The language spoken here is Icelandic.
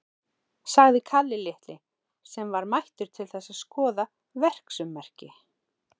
sagði Kalli litli, sem var mættur til þess að skoða verksummerki.